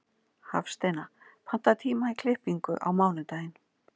Hafsteina, pantaðu tíma í klippingu á mánudaginn.